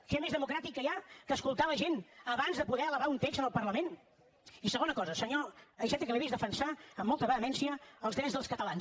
què més democràtic hi ha que escoltar la gent abans de poder elevar un text al parlament i segona cosa senyor iceta que l’he vist defensar amb molta vehemència els drets dels catalans